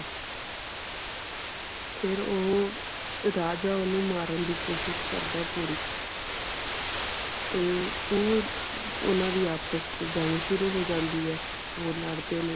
ਫਿਰ ਉਹ ਰਾਜਾ ਓਹਨੂੰ ਮਾਰਨ ਦੀ ਕੋਸ਼ਿਸ਼ ਕਰਦਾ ਪੂਰੀ ਤੇ ਫਿਰ ਓਹਨਾ ਦੀ ਆਪਸ ਚ ਜੰਗ ਸ਼ੁਰੂ ਹੋ ਜਾਂਦੀ ਹੈ ਉਹ ਲੜਦੇ ਨੇ